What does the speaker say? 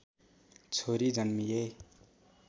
छोरी जन्मिए